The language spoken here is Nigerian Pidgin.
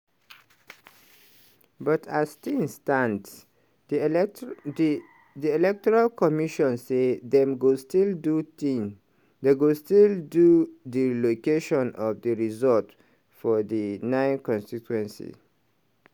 but as tins stand di electoral commission say dem go still do di tin do recolltaion of di results for di 9 constituency